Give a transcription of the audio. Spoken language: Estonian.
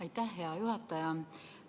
Aitäh, hea juhataja!